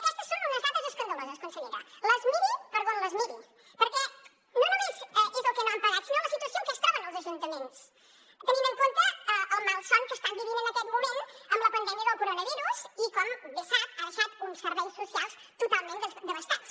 aquestes són unes dades escandaloses consellera les miri per on les miri perquè no només és el que no han pagat sinó la situació en què es troben els ajuntaments tenint en compte el malson que estan vivint en aquest moment amb la pandèmia del coronavirus i com bé sap ha deixat uns serveis socials totalment devastats